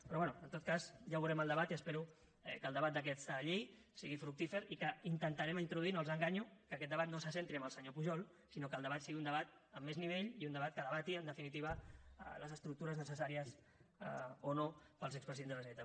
però bé en tot cas ja veurem el debat i espero que el debat d’aquesta llei sigui fructífer i que hi intentarem introduir no els enganyo que aquest debat no se centri en el senyor pujol sinó que el debat sigui un debat amb més nivell i un debat que debati en definitiva les estructures necessàries o no per als expresidents de la generalitat